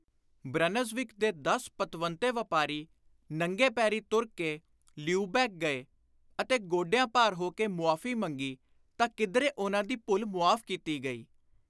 Brunswick ਦੇ ਦਸ ਪਤਵੰਤੇ ਵਾਪਾਰੀ ਨੰਗੇ ਪੈਰੀ ਤੁਰ ਕੇ ਲਿਊਬੈਕ ਗਏ ਅਤੇ ਗੋਡਿਆਂ ਭਾਰ ਹੋ ਕੇ ਮੁਆਫ਼ੀ ਮੰਗੀ ਤਾਂ ਕਿਧਰੇ ਉਨ੍ਹਾਂ ਦੀ ਭੁੱਲ ਮੁਆਫ਼ ਕੀਤੀ ਗਈ ।